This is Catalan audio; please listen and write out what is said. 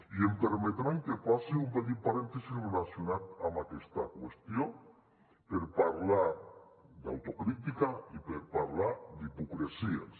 i em permetran que faci un petit parèntesi relacionat amb aquesta qüestió per parlar d’autocrítica i per parlar d’hipocresies